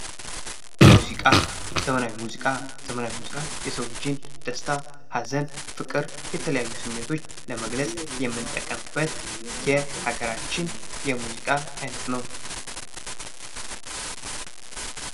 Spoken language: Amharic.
ሙዚቃ ዘመናዊ ሙዚቃ የሰው ልጅን ደስታ፣ ሐዘን፣ ፍቅር የተለያዩ ስሜቶች ለመግለፅ የምንጠቀምበት የሀገራችን የሙዚቃ አይነት ነው ።